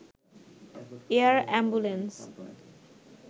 air ambulance